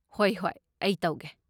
ꯍꯣꯏ ꯍꯣꯏ ꯑꯩ ꯇꯧꯒꯦ꯫